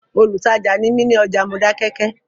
Olùtajà ni mí ní ọjà Modákẹ́kẹ́